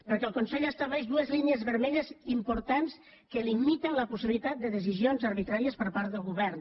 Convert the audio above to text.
perquè el consell estableix dues línies vermelles importants que limiten la possibilitat de decisions arbitràries per part del govern